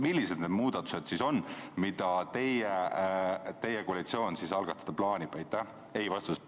Millised need muudatused on, mida teie koalitsioon algatada plaanib?